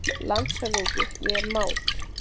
LANDSHÖFÐINGI: Ég er mát!